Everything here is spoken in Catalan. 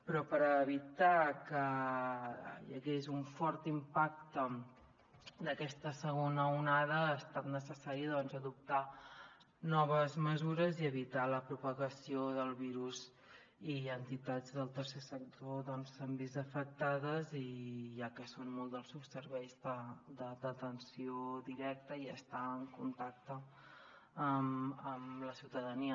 però per evitar que hi hagués un fort impacte en aquesta segona onada ha estat necessari doncs adoptar noves mesures i evitar la propagació del virus i entitats del tercer sector s’han vist afectades ja que són molt dels seus serveis d’atenció directa i estar en contacte amb la ciutadania